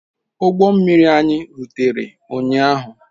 Ụgbọ mmiri anyị rutere ụnyaahụ.